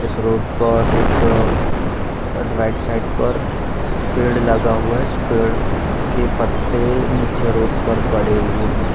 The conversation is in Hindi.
इस रोड पर एक राइट साइड पर पेड़ लगा हुआ है | इस पेड़ के पत्ते निचे रोड पर पड़े हुए हैं |